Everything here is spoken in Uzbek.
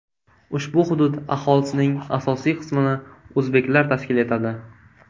Ushbu hudud aholisining asosiy qismini o‘zbeklar tashkil etadi.